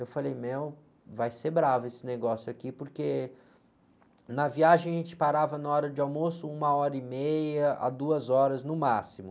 Eu falei, meu, vai ser bravo esse negócio aqui, porque na viagem a gente parava na hora de almoço uma hora e meia a duas horas no máximo.